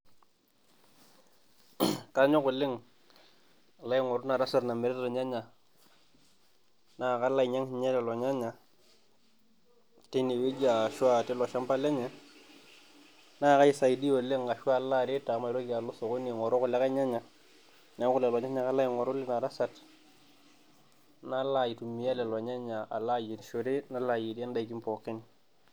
Kanyok oleng aloo aing'oru ina tasat namirita irnyanya naa kalo ainyiang sii ninche lelo nyanya tine wueji ashuu tino shamba lenye naa kaaisaidia oleng ashu alo aret amu maitoki alo sokoni aing'oru kulikae nyanya neeku leko nyanya ake alo aing'oru lina tasat nalo aitumiya lelo nyanya alo ayierishore nayierie indaki pookin.